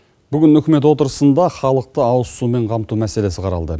бүгін үкімет отырысында халықты ауызсумен қамту мәселесі қаралды